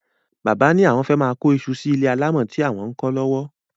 Bàbá lawon fé máà kó isu sí ilé alámò tí àwon ń kó lówó.